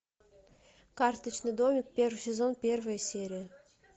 карточный домик первый сезон первая серия